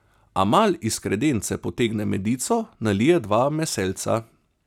Amal iz kredence potegne medico, nalije v dva maseljca.